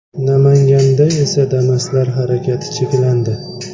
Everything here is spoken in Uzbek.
Namanganda esa Damas’lar harakati cheklandi.